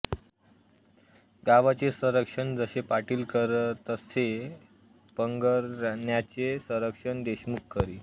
गावाचे संरक्षण जसे पाटील करीतसे परगण्याचे संरक्षण देशमुख करी